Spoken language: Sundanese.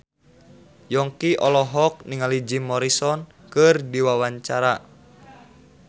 Yongki olohok ningali Jim Morrison keur diwawancara